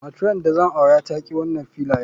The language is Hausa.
Matran da zan aura ta ki wanan filayan.